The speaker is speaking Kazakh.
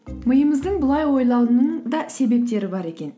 миымыздың былай ойлауының да себептері бар екен